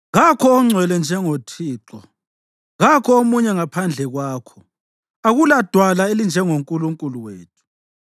Kakho ongcwele njengoThixo; kakho omunye ngaphandle kwakho; akulaDwala elinjengo-Nkulunkulu wethu.